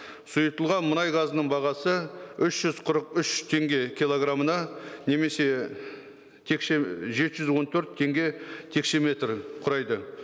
сұйытылған мұнай газының бағасы үш жүз қырық үш теңге килограмына немесе жеті жүз он төрт теңге текшеметрі құрайды